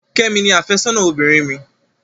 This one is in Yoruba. Kẹ́mi ni àfẹ́sọ́nà obìnrin mi.